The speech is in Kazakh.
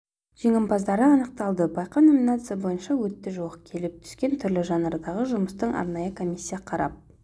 жеңімпаздары анықталды байқау номинация бойынша өтті жуық келіп түскен түрлі жанрдағы жұмысты арнайы комиссия қарап